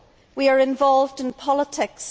We are involved in politics.